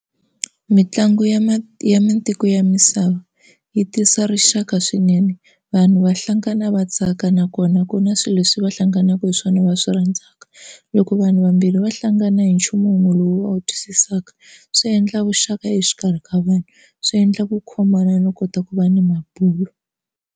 Mitlangu ya ya matiko ya misava yi tisa rixaka swinene vanhu va hlangana va tsaka nakona ku na swilo leswi va hlanganaka hi swona va swi rhandzaka. Loko vanhu vambirhi va hlangana hi nchumu wun'we lowu va wu twisisaka swi endla vuxaka exikarhi ka vanhu swi endla ku khomana no kota ku va ni mabulo.